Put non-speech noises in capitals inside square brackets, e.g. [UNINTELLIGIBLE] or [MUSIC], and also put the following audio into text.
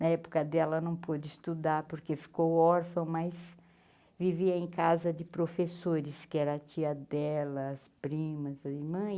Na época dela, não pôde estudar, porque ficou órfão, mas vivia em casa de professores, que era a tia delas, primas. [UNINTELLIGIBLE]